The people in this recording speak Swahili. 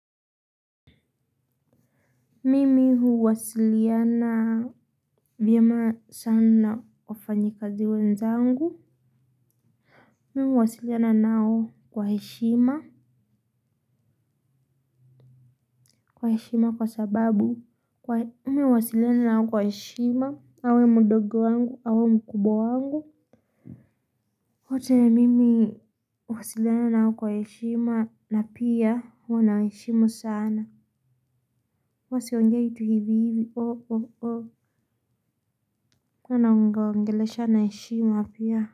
Mimi huwasiliana vyema sana na wafanyikazi wenzangu. Mimi huwasiliana nao kwa heshima. Kwa heshima kwa sababu. Mimi huwasiliana nao kwa heshima. Awe mdogo wangu au mkubwa wangu. Wote mimi huwasiliana nao kwa heshima na pia huwa na heshima sana. Huwa siongei tu hivi hivi hawa nawaongelesha na heshima pia.